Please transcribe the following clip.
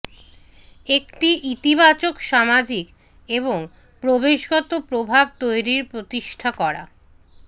একটি ইতিবাচক সামাজিক এবং পরিবেশগত প্রভাব তৈরীর প্রতিষ্ঠা করা